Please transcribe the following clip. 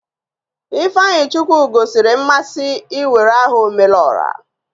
Ifeanyichukwu gosiri mmasị iwere aha "Omelora"